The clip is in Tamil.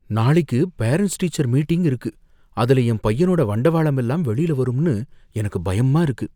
நாளைக்கு பேரன்ட்ஸ் டீச்சர்ஸ் மீட்டிங் இருக்கு, அதுல என் பையனோட வண்டவாளம் எல்லாம் வெளில வரும்னு எனக்கு பயமா இருக்கு.